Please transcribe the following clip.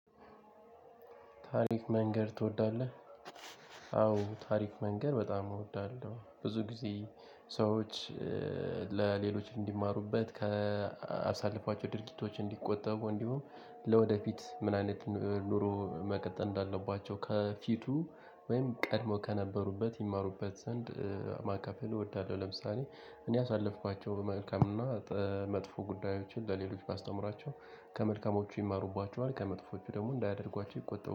ታሪክ መንገር ትወዳለህ አዎ ታሪክ መንገር በጣም እወዳለሁ ብዙ ጊዜ ሰዎች ለሌሎች እንዲማሩበት ከአሳልፏቸው ድርጊቶች እንዲቆጠቡ እንዲሁም ለወደፊት ምን አይነት ኑሮ መቀጠል እንዳለባቸው ከፊቱ ወይም ቀድሞ ከነበሩበት ይማሩበት ዘንድ ማካፈል እወዳለሁ። ለምሳሌ እኔ ያሳለፍኳቸው መልካም እና መጥፎ ጉዳዮችን ለሌሎች ባስተምራቸው ከመልካሞቹ ይማሩባቸዋል ከመጥፎቹ ደሞ እንዳያደርጓቸው ይቆጠሩ